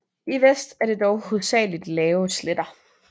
I vest er der dog hovedsageligt lave sletter